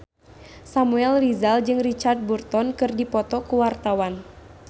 Samuel Rizal jeung Richard Burton keur dipoto ku wartawan